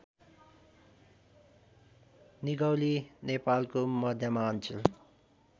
निगौली नेपालको मध्यमाञ्चल